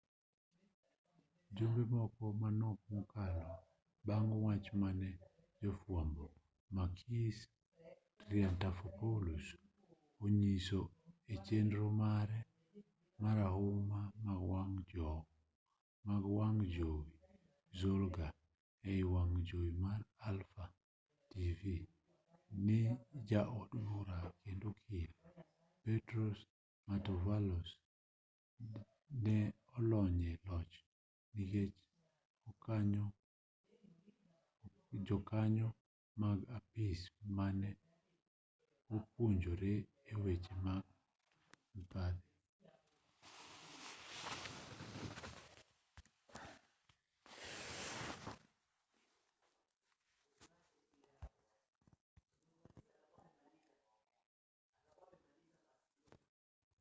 jumbe moko manok mokalo bang' wach mane jafwambo makis triantafylopoulos onyiso e chenro mare marahuma mar wang' jowi zoungla ei wang' jowi mar alpha tv ja od bura kendo okil petros mantouvalos ne olony e loch nikech jokanyo mag apis mare ne odonjore e weche mag mibadhi